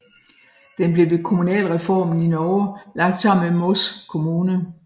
Den blev ved kommunalreformen i Norge blev lagt sammen med Moss kommune